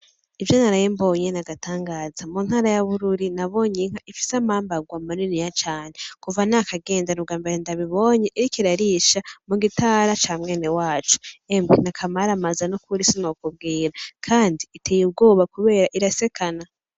Ivyo naraye mbonye n'igitangaza muntara y'Abururi nabonye inka ifise amambarwa maniniya cane kuva nakagenda n'ubwambere ndabibonye iriko irarisha mugitara ca mwene wacu. emwe nakamaramaza n'ukuri sinokubwira kandi iteye ubwoba kubera irasekana!